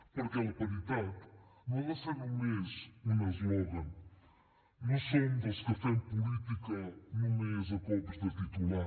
perquè la paritat no ha de ser només un eslògan no som dels que fem política només a cops de titular